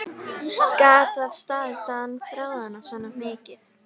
Gat það staðist að hann þráði hana svona mikið?